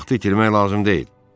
Vaxtı itirmək lazım deyil.